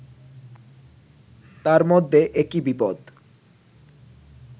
তার মধ্যে একি বিপদ